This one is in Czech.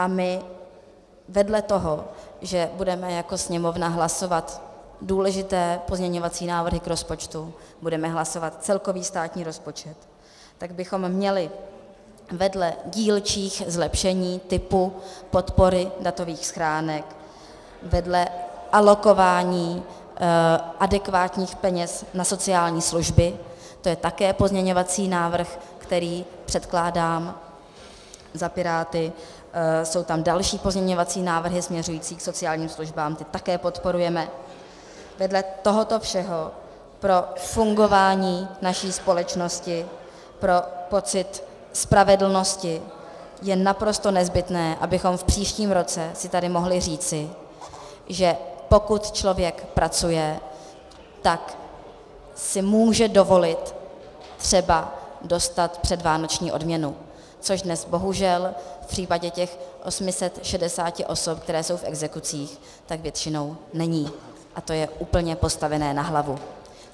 A my vedle toho, že budeme jako Sněmovna hlasovat důležité pozměňovací návrhy k rozpočtu, budeme hlasovat celkový státní rozpočet, tak bychom měli vedle dílčích zlepšení typu podpory datových schránek, vedle alokování adekvátních peněz na sociální služby, to je také pozměňovací návrh, který předkládám za Piráty, jsou tam další pozměňovací návrhy směřující k sociálním službám, ty také podporujeme, vedle tohoto všeho pro fungování naší společnosti, pro pocit spravedlnosti je naprosto nezbytné, abychom v příštím roce si tady mohli říci, že pokud člověk pracuje, tak si může dovolit třeba dostat předvánoční odměnu, což dnes bohužel v případě těch 860 osob, které jsou v exekucích, tak většinou není, a to je úplně postavené na hlavu!